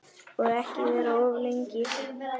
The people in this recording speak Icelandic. Og ekki vera of lengi.